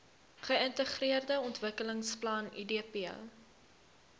geintegreerde ontwikkelingsplan idp